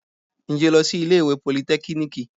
Ǹjẹ́ o lọ sí ilé ìwé politẹ́kíníìkì?